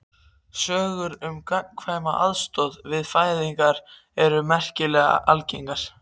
Sögur um gagnkvæma aðstoð við fæðingar eru merkilega algengar.